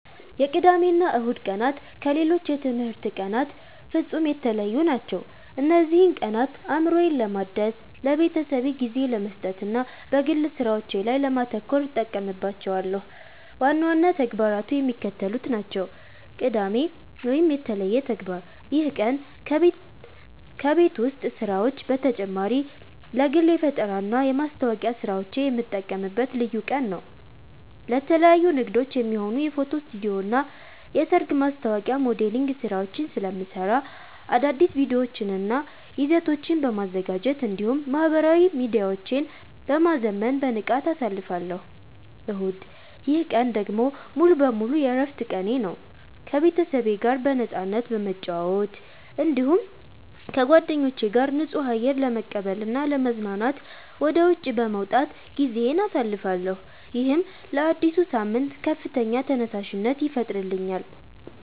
የቅዳሜና እሁድ ቀናት ከሌሎች የትምህርት ቀናት ፍጹም የተለዩ ናቸው። እነዚህን ቀናት አእምሮዬን ለማደስ፣ ለቤተሰቤ ጊዜ ለመስጠትና በግል ሥራዎቼ ላይ ለማተኮር እጠቀምባቸዋለሁ። ዋና ዋና ተግባራቱ የሚከተሉት ናቸው፦ ቅዳሜ (የተለየ ተግባር)፦ ይህ ቀን ከቤት ውስጥ ሥራዎች በተጨማሪ ለግል የፈጠራና የማስታወቂያ ሥራዎቼ የምጠቀምበት ልዩ ቀን ነው። ለተለያዩ ንግዶች የሚሆኑ የፎቶ ስቱዲዮና የሰርግ ማስታወቂያ ሞዴሊንግ ሥራዎችን ስለምሠራ፣ አዳዲስ ቪዲዮዎችንና ይዘቶችን በማዘጋጀት እንዲሁም ማኅበራዊ ሚዲያዎቼን በማዘመን በንቃት አሳልፋለሁ። እሁድ፦ ይህ ቀን ደግሞ ሙሉ በሙሉ የዕረፍት ቀኔ ነው። ከቤተሰቤ ጋር በነፃነት በመጨዋወት፣ እንዲሁም ከጓደኞቼ ጋር ንጹህ አየር ለመቀበልና ለመዝናናት ወደ ውጪ በመውጣት ጊዜዬን አሳልፋለሁ። ይህም ለአዲሱ ሳምንት ከፍተኛ ተነሳሽነት ይፈጥርልኛል።